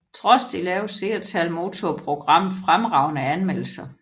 Trods de lave seertal modtog programmet fremragende anmeldelser